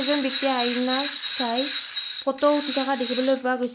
এজন ব্যক্তিয়ে আইনাত চাই ফটো উঠি থকা দেখিবলৈ পোৱা গৈছে।